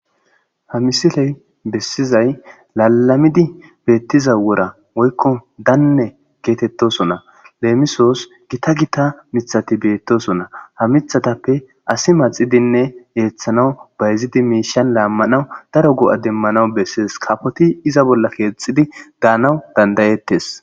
ha misiley bessizay lalamidi beettiza wora woykko daanne geetettosona leemisos gita gita mithati beettosona ha mithatappe asi maxidinne eeththanaw bayzidi miishan laammanaw daro go7a demmanawu bessees kafoti iza bolla keexidi daanaw dandayettes